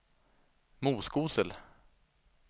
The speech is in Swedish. Moskosel